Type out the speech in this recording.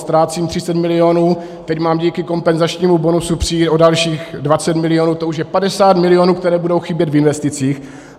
Ztrácím 30 milionů, teď mám díky kompenzačnímu bonusu přijít o dalších 20 milionů, to už je 50 milionů, které budou chybět v investicích.